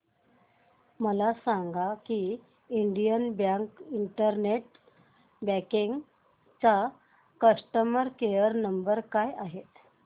मला सांगा की इंडियन बँक इंटरनेट बँकिंग चा कस्टमर केयर नंबर काय आहे